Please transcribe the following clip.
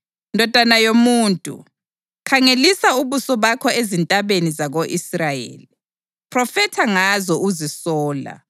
“Ndodana yomuntu, khangelisa ubuso bakho ezintabeni zako-Israyeli; phrofetha ngazo uzisola